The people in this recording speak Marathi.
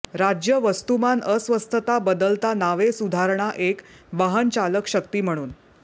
राज्य वस्तुमान अस्वस्थता बदलता नावे सुधारणा एक वाहनचालक शक्ती म्हणून